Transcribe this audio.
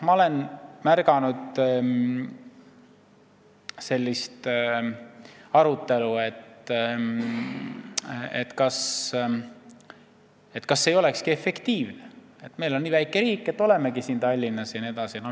Ma olen kuulnud ka sellist arutelu, et kas see ei olekski efektiivne – meil on nii väike riik, olemegi siin Tallinnas jne.